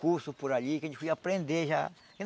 curso por ali, que a gente podia aprender já.